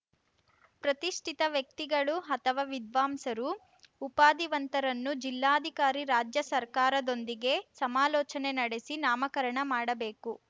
ಪ್ರತಿಷ್ಠಿತ ವ್ಯಕ್ತಿಗಳು ಅಥವಾ ವಿದ್ವಾಂಸರು ಉಪಾಧಿವಂತರನ್ನು ಜಿಲ್ಲಾಧಿಕಾರಿ ರಾಜ್ಯ ಸರ್ಕಾರದೊಂದಿಗೆ ಸಮಾಲೋಚನೆ ನಡೆಸಿ ನಾಮಕರಣ ಮಾಡಬೇಕು